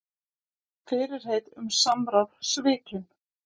Fyrirheit um samráð svikin